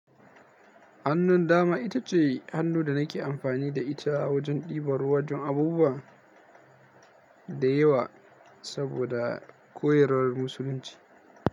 Hannun dama ita ce hannu da nake amfani da ita wajen ɗiban ruwa don abubuwa da yawa saboda koyarwar musulunci.